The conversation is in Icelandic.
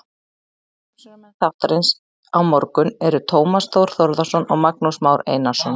Umsjónarmenn þáttarins á morgun eru Tómas Þór Þórðarson og Magnús Már Einarsson.